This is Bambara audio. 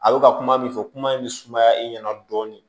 A bɛ ka kuma min fɔ kuma in bɛ sumaya e ɲɛna dɔɔni